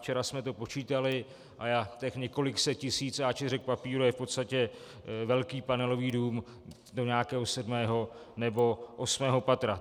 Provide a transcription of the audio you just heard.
Včera jsme to počítali a těch několik set tisíc A4 papírů je v podstatě velký panelový dům do nějakého sedmého nebo osmého patra.